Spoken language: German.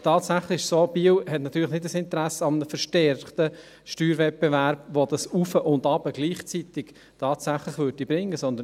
Tatsächlich ist es so, dass Biel kein Interesse an einem verstärkten Steuerwettbewerb hat, welcher das Auf und Ab gleichzeitig tatsächlich bringen würde.